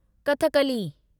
Kathakali